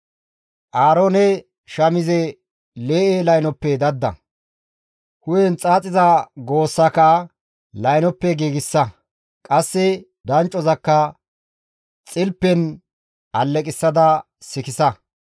«Aaroone shamize lee7e laynoppe dadda; hu7en xaaxiza goossaka laynoppe giigsa. Qasse danccozakka xilpen alleqissada sikissa.